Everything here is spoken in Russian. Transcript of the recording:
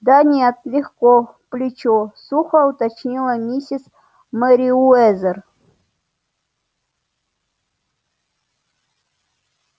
да нет легко в плечо сухо уточнила миссис мерриуэзер